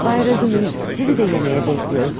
Bay Razumihin, sizi də yeməyə bəkləyoruz.